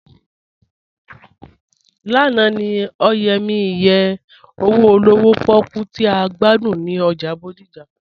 Lánà ni ọ̀yẹ̀ mi ìyẹ̀ owo olówò pòkú tì a gbàdún ni ọ́jà Bódìjà.